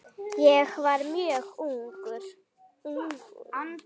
Ég var mjög ungur.